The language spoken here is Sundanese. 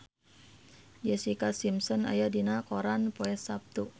Jessica Simpson aya dina koran poe Saptu